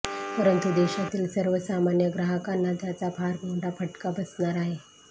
परंतु देशातील सर्वसामान्य ग्राहकांना त्याचा फार मोठा फटका बसणार आहे